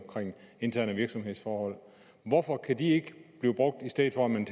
interne virksomhedsforhold hvorfor kan den ikke blive brugt i stedet for at man